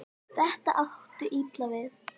Þetta átti illa við